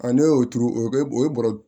ne y'o turu o bɛ o ye bɔrɔ